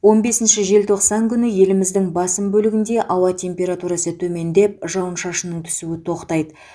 он бесінші желтоқсан күні еліміздің басым бөлігінде ауа температурасы төмендеп жауын шашынның түсуі тоқтайды